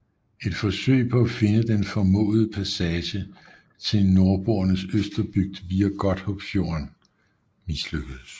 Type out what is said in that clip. Et forsøg på at finde den formodede passage til Nordboernes Østerbygd via Godthåbfjorden mislykkedes